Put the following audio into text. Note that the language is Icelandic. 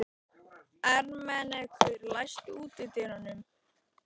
Ermenrekur, læstu útidyrunum.